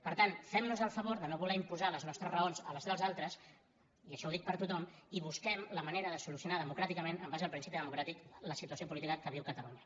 per tant fem·nos el favor de no voler imposar les nostres raons a les dels altres i això ho dic per a tothom i busquem la manera de solucionar demo·cràticament en base al principi democràtic la situació política que viu catalunya